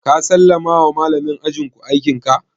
Ka sallama wa malamin ajin ku aikin ka?